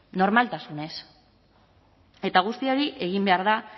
normaltasunez eta guzti hori egin behar da